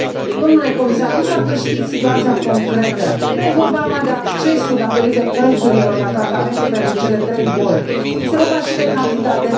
Domnule comisar, nu știu dacă știți situația concretă nu e vorba numai de accesul datorită prețurilor la tratamentul pentru cele trei boli, este vorba și de cantitate.